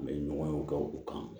An bɛ ɲɔgɔn ye o kɛ u kan